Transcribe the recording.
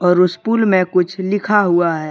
और उस पूल में कुछ लिखा हुआ है।